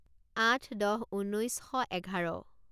আঠ দহ ঊনৈছ শ এঘাৰ